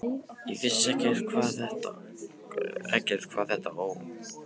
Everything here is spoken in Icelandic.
Ég vissi ekkert hvað þetta Ó!